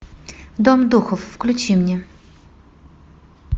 дом духов включи мне